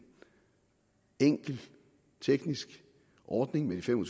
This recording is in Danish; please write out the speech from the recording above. enkel teknisk ordning med de fem og